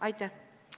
Aitäh!